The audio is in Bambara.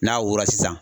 N'a wolo sisan